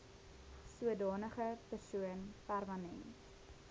sodanige persoon permanent